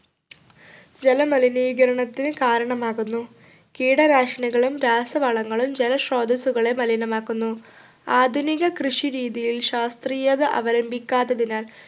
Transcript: ജലമലിനീകരണത്തിന് കാരണമാകുന്നു കീടനാശിനികളും രാസവളങ്ങളും ജലസ്രോതസ്സുകളെ മലിനമാക്കുന്നു ആധുനിക കൃഷി രീതിയിൽ ശാസ്ത്രീയത അവലംബിക്കാത്തതിനാൽ